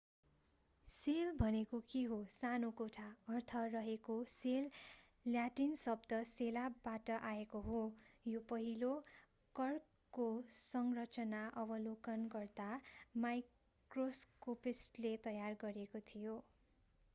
sale भनेको के हो सानो कोठा अर्थ रहेको सेल ल्याटिन शब्द सेला बाट आएको हो यो पहिलो कर्कको संरचना अवलोकन गर्दा माइक्रोस्कोपिस्टले तयार गरेको थियो